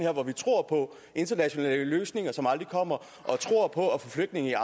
hvor vi tror på internationale løsninger som aldrig kommer og tror på at få flygtninge